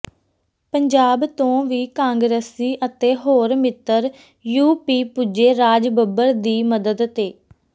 ਪੰਜਾਬ ਤੋਂ ਵੀ ਕਾਂਗਰਸੀ ਅਤੇ ਹੋਰ ਮਿੱਤਰ ਯੂ ਪੀ ਪੁੱਜੇ ਰਾਜ ਬੱਬਰ ਦੀ ਮਦਦ ਤੇ